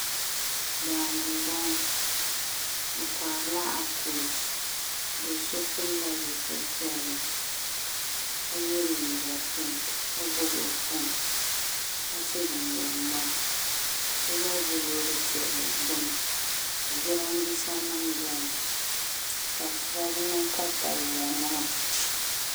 Daani n boŋo bi koharila akoosh do so pilla zipili piɛlli ka yɛ liiga pink ka gbubi o foon ka so jinjɛm ŋmaa ka so gba ʒi Loori piɛlli gbuni ka jiranbiisa nim biɛni ka shaba niŋ katawiya nima